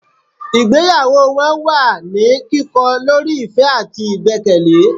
ìgbéyàwó wọn wà ní kikọ lorí ìfẹ́ àtí ìgbẹ́kẹ̀lé